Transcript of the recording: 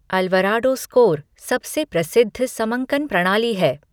Alvarado score सबसे प्रसिद्ध समंकन प्रणाली है।